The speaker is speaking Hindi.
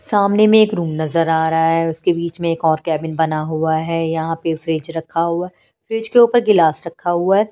सामने में एक रूम नजर आ रहा है उसके बीच में एक और कैबिन बना हुआ है यहाँ पे फ्रिज रखा हुआ है फ्रिज के ऊपर गिलास रखा हुआ है।